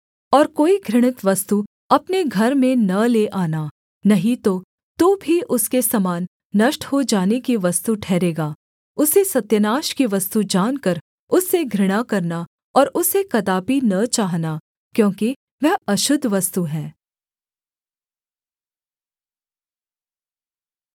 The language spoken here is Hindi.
और कोई घृणित वस्तु अपने घर में न ले आना नहीं तो तू भी उसके समान नष्ट हो जाने की वस्तु ठहरेगा उसे सत्यानाश की वस्तु जानकर उससे घृणा करना और उसे कदापि न चाहना क्योंकि वह अशुद्ध वस्तु है